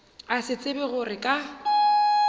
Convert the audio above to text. a sa tsebe gore ka